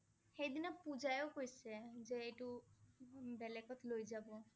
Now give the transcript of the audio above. সেইদিনা পূজাইও কৈছে যে এইটো উম বেলেগত লৈ যাব